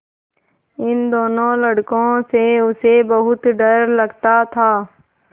इन दोनों लड़कों से उसे बहुत डर लगता था